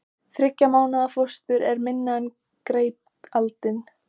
Þriggja mánaða fóstur er minna en greipaldin.